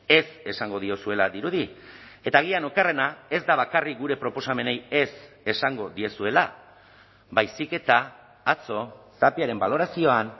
ez esango diozuela dirudi eta agian okerrena ez da bakarrik gure proposamenei ez esango diezuela baizik eta atzo tapiaren balorazioan